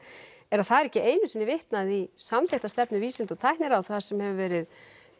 er að það er ekki einu sinni vitnað í samþykkta stefnu vísinda og tækniráðs þar sem hefur verið